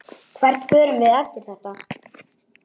Hvert förum við eftir þetta?